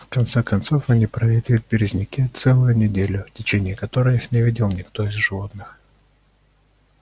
в конце концов они провели в березняке целую неделю в течение которой их не видел никто из животных